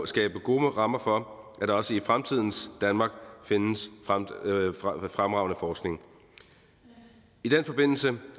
skabe gode rammer for at der også i fremtidens danmark findes fremragende forskning i den forbindelse